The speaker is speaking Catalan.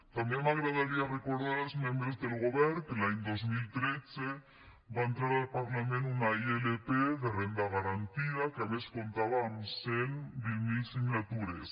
també m’agradaria recordar als membres del govern que l’any dos mil tretze va entrar al parlament una ilp de renda garantida que a més comptava amb cent i vint miler signatures